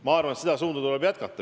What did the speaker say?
Ma arvan, te seda suunda tuleb hoida.